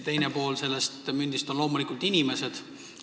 Teine pool sellest mündist on loomulikult inimesed.